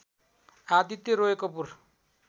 Aditya Roy Kapoor